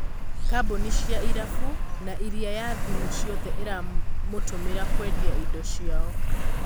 Kambuni cia Irabu na ĩrĩa ya Thimũ ciothe iramũtũmira kwendia indo ciao.